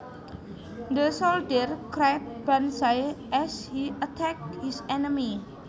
The soldier cried banzai as he attacked his enemy